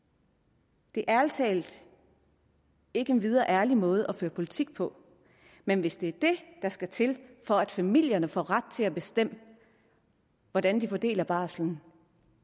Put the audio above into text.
det er ærlig talt ikke en videre ærlig måde at føre politik på men hvis det er det der skal til for at familierne får ret til at bestemme hvordan de fordeler barslen